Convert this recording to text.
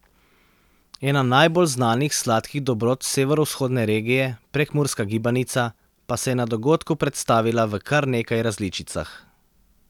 Ena najbolj znanih sladkih dobrot severovzhodne regije, prekmurska gibanica, pa se je na dogodku predstavila v kar nekaj različicah.